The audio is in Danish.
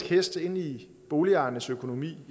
hest ind i boligejernes økonomi